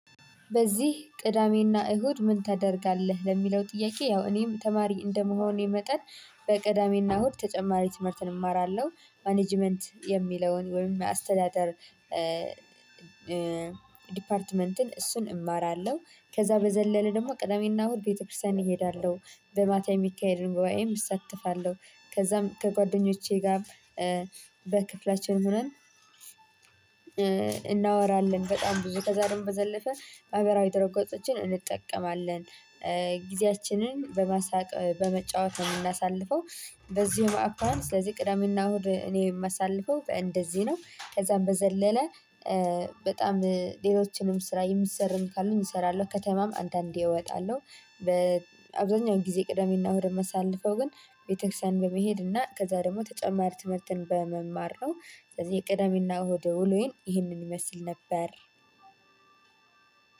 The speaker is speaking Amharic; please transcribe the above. በዚህ ቅዳሜና እሁድ ምን ታደርጋለህ? ለሚለው ጥያቄ ያው እኔም ተማሪ እንደመሆኔ መጠን በቅዳሜና እሁድ ተጨማሪ ትምህርትን እማራለሁ ማኔጅመንት የሚለውን ወይም አስተዳደር ዲፓርትመንትን እሱን እማራለሁ። ከዛ በዘለለ ደግሞ ቅዳሜና እሁድ ቤተክርስቲያን እሄዳለሁ በማታ የሚካሄድ ጉዬም እሳተፋለሁ። ከዛም ከጓደኞቼ ጋር በክፍላችን ሆነን እናወራለን። በጣም ብዙ ከዛ ደሞ በዘለፈ ማህበራዊ ድረ ገፆችን እንጠቀማለን። ጊዜያችንን በማሳቅ በመጫወት እምናሳልፈው። በዚህ አኳኋን ስለዚህ ቅዳሜና እሁድ እኔ የማሳልፈው እንደዚህ ነው። ከዛም በዘለለ በጣም ሌሎችንም ስራ የምሰርም ካሉኝ እሰራለሁ ከተማም አንዳንዴ እወጣለሁ። በአብዛኛው ጊዜ ቅደሜና እሁድን ማሳልፈው ግን ቤተክርስቲያን በመሄድና ከዛ ደግሞ ተጨማሪ ትምህርትን በመማር ነው። ስለዚህ የቅደሜና እሁድ ውሎዬን ይህንን ይመስል ነበር።